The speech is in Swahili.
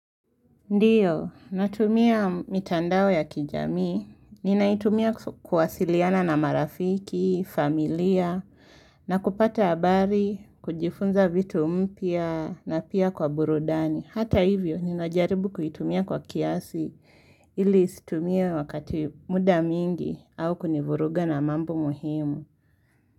Ndiyo, natumia mitandao ya kijamii, ninaitumia kuwasiliana na marafiki, familia, na kupata habari, kujifunza vitu mpya na pia kwa burudani. Hata hivyo, ninajaribu kuitumia kwa kiasi ili isitumie wakati muda mingi au kunivuruga na mambo muhimu.